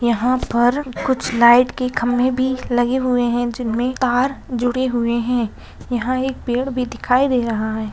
यहाँ पर कुछ लाइट के खंभे भी लगे हुए हैं जिनमें तार जुड़े हुए हैं यहाँ एक पेड़ भी दिखाई दे रहा है।